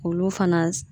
Olu fana